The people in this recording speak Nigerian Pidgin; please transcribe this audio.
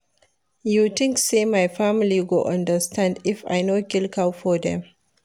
You tink sey my family go understand if I no kill cow for dem?